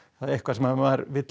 eitthvað sem maður vill